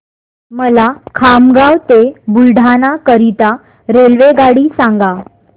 मला खामगाव ते बुलढाणा करीता रेल्वेगाडी सांगा